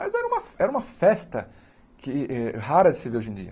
Mas era uma era uma festa que eh rara de se ver hoje em dia.